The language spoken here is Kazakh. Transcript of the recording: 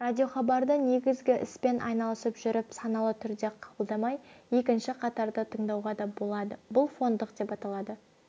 радиохабарды негізгі іспен айналысып жүріп саналы түрде қабылдамай екінші қатарда тыңдауға да болады бұл фондық деп аталады